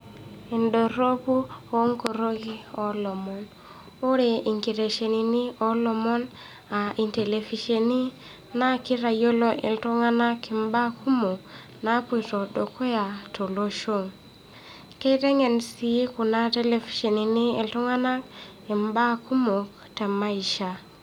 Endoropu o nkoroki o lomon, ore inketesheneni o lomon a intelevisheni naa kitayolo iltung'anak imbaa kumok naapoito dukuya to losho. kiteng'en sii kuna televishenini iltung'anak imbaa kumok te maisha.